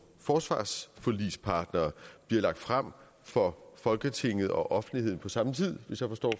forsvarsforligspartere bliver lagt frem for folketinget og offentligheden på samme tid hvis jeg forstår